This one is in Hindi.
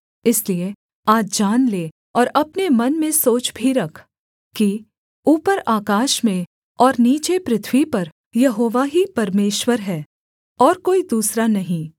इसलिए आज जान ले और अपने मन में सोच भी रख कि ऊपर आकाश में और नीचे पृथ्वी पर यहोवा ही परमेश्वर है और कोई दूसरा नहीं